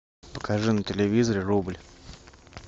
покажи на телевизоре рубль